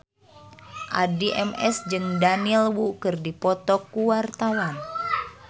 Addie MS jeung Daniel Wu keur dipoto ku wartawan